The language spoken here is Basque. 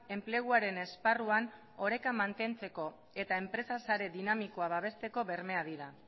enpleguaren esparruan oreka mantentzeko eta enpresa sare dinamikoa babesteko bermeak dira